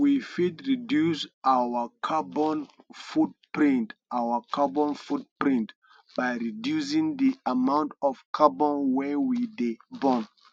we fit reduce our carbon footprint our carbon footprint by reducing di amount of carbon wey we dey burn